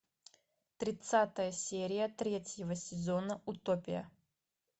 тридцатая серия третьего сезона утопия